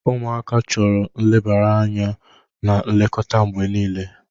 Ụmụaka chọrọ nlebara anya na nlekọta mgbe niile.